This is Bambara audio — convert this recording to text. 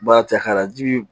Ba cɛ k'a ji